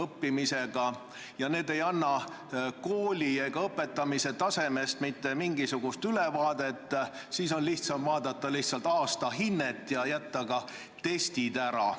Sellised testid ei anna kooli ega õpetamise tasemest mitte mingisugust ülevaadet, lihtsam on vaadata aastahinnet ja jätta testid ära.